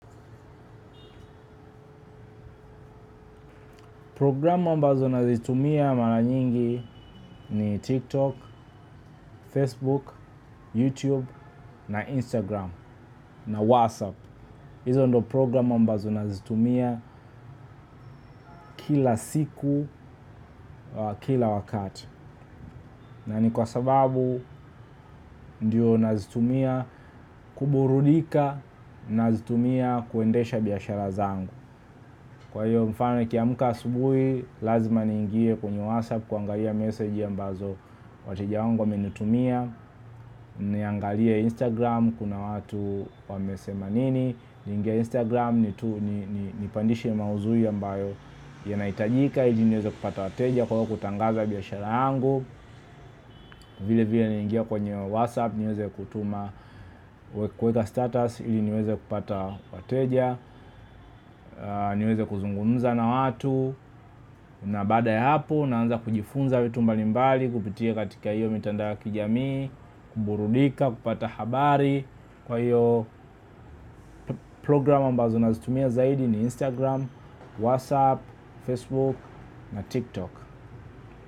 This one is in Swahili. Programu ambazo nazitumia mara nyingi ni TikTok, Facebook, YouTube na Instagram na WhatsApp. Hizo ndo programu ambazo nazitumia kila siku, kila wakati. Na ni kwa sababu ndiyo nazitumia kuburudika na nazitumia kuendesha biashara zangu. Kwa hiyo mfano nikiamuka asubuhi lazima niingie kwenye WhatsApp kuangalia meseji ambazo wateja wangu wamenitumia. Niangalie Instagram kuna watu wamesema nini niingie Instagram ni tu, ni pandishe mauzui ambayo yanahitajika ili niweze kupata wateja kwa hiyo kutangaza biashara yangu vile vile niingie kwenye Whatsapp niweze kutuma kuweka status ili niweze kupata wateja niweze kuzungumza na watu na baada ya hapo naanza kujifunza vitu mbali mbali kupitia katika hiyo mitandao ya kijamii kuburudika kupata habari kwa hiyo programu ambazo nazitumia zaidi ni Instagram, WhatsApp, Facebook na TikTok.